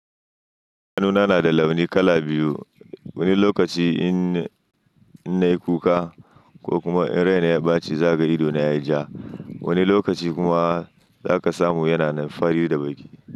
Idanuna nada launi kala biyu. Wani lokaci in nai kuka ko kuma in raina ya ɓace, za ka ga ido na yayi ja. Wani lokaci kuma za ka samu yana fari da baƙi.